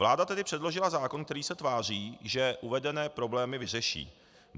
Vláda tedy předložila zákon, který se tváří, že uvedené problémy vyřeší.